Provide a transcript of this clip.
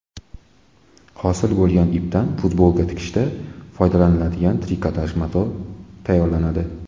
Hosil bo‘lgan ipdan futbolka tikishda foydalaniladigan trikotaj mato tayyorlanadi.